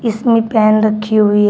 इसमें एक पेन रखी हुई है।